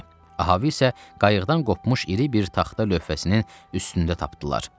Ahav isə qayıqdan qopmuş iri bir taxta lövhəsinin üstündə tapdılar.